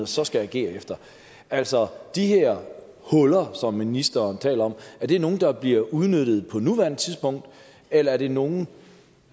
så skal agere efter altså de her huller som ministeren taler om er det nogle der bliver udnyttet på nuværende tidspunkt eller er det nogle